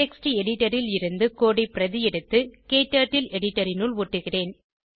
text editor ல் இருந்து code ஐ பிரதி எடுத்து க்டர்ட்டில் எடிட்டர் இனுள் ஒட்டுகிறேன்